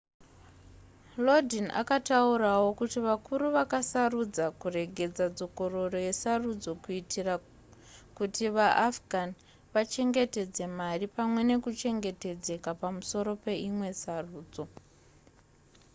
lodin akataurawo kuti vakuru vakasarudza kuregedza dzokororo yesarudzo kuitira kuti vaafghan vachengetedze mari pamwe nekuchengetedzeka pamusoro peimwe sarudzo